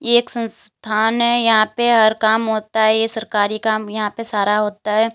एक संस्थान है यहां पे हर काम होता है ये सरकारी काम यहां पे सारा होता है।